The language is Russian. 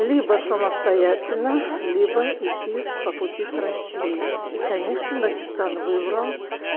либо самостоятельно либо идти по пути с россией и конечно дагестан выбрал